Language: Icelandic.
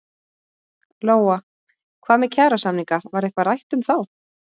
Lóa: Hvað með kjarasamninga var eitthvað rætt um þá?